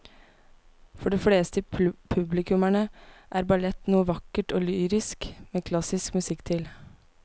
For de fleste publikummere er ballett noe vakkert og lyrisk med klassisk musikk til.